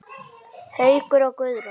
Haukur og Guðrún.